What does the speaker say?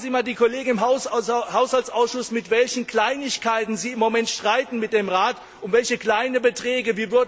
Fragen Sie einmal die Kollegen im Haushaltsausschuss, über welche Kleinigkeiten sie im Moment streiten mit dem Rat, um welche kleine Beträge.